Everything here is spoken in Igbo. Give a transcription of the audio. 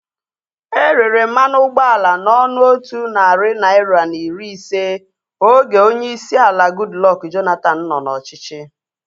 Erere mmanụ ụgbọala na ọnụ otu narị naira na iri ise oge onyeisi ala Goodluck Jonathan nọ n'ọchịchị